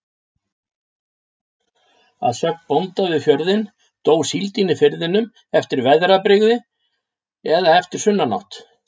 Að sögn bónda við fjörðinn, dó síld í firðinum eftir veðrabrigði eða eftir sunnanátt.